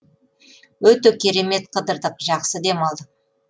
өте керемет қыдырдық жақсы демалдық